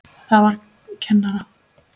Það var kennara